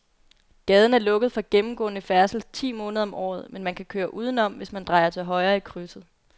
Gaden er lukket for gennemgående færdsel ti måneder om året, men man kan køre udenom, hvis man drejer til højre i krydset.